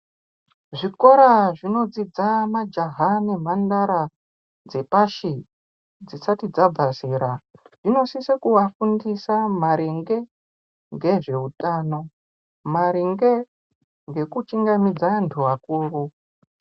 Zvikora zvinodzidza majaha nemhandara dzepashi-pashi dzisati dzabva zera zvinosise kuvafundisa maringe ngezveutano, maringe ngekuchingamidza antu akuru.